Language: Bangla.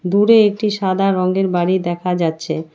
দূরে একটি সাদা রঙ্গের বাড়ি দেখা যাচ্ছে।